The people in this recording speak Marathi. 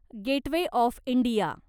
gateway of India